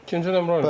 İkinci nömrə ilə.